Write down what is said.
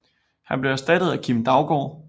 Han blev erstattet af Kim Daugaard